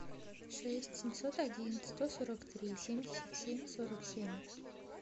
шесть семьсот один сто сорок три семьдесят семь сорок семь